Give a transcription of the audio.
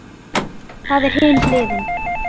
Það er hin hliðin.